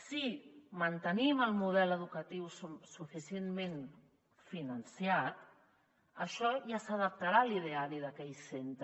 si mantenim el model educatiu suficientment finançat això ja s’adaptarà a l’idea·ri d’aquell centre